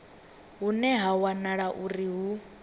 hune ha wanala uri hu